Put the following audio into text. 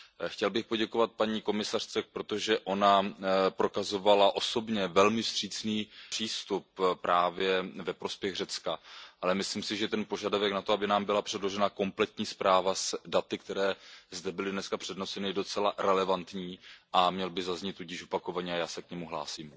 Chtěl bych poděkovat paní komisařce, protože ona prokazovala osobně velmi vstřícný přístup právě ve prospěch Řecka, ale myslím si, že ten požadavek na to, aby nám byla předložena kompletní zpráva s daty, která zde byla dnes přednesena, je docela relevantní a měl by zaznít tudíž opakovaně a já se k němu hlásím.